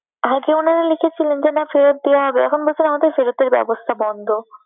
আগে উনারা লিখেছিলেন যে না ফেরত দেয়া হবে। এখন বলছে না আমাদের ফেরতের ব্যবস্থা বন্ধ।